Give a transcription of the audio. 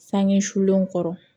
Sange sulenw kɔrɔ